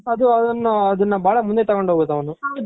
ಅದು ಅದುನ್ನ ಬಾಳ ಮುಂದೆ ತಗೊಂಡು ಹೋಗ್ಬೇಕು ಅವ್ನು